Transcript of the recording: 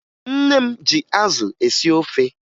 Nne m ji azụ esi ofe